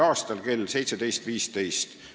a kell 17.15 .